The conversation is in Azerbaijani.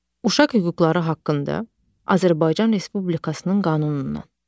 Uşaq hüquqları haqqında Azərbaycan Respublikasının qanunundan.